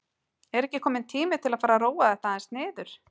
Er ekki kominn tími til að fara að róa þetta aðeins niður?